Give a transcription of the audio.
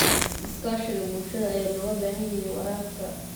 Iskaashiga bulshada ayaa looga baahan yahay waraabka.